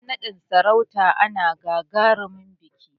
Ran naɗin sarauta ana gagarumin biƙi